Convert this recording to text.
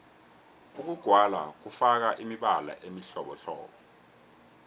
ukugwala kufaka imibala emihlobohlobo